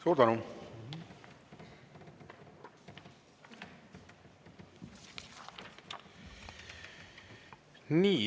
Suur tänu!